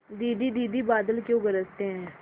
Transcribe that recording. दीदी दीदी बादल क्यों गरजते हैं